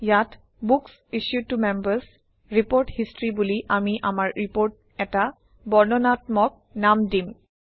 ইয়াত books issued to Members report history বুলি আমি আমাৰ ৰিপৰ্ট এটা বৰ্ণানাত্মক নাম দিম